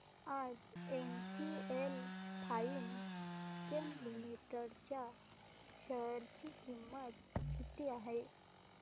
आज NGL Finechem limited च्या share ची किंमत किती आहे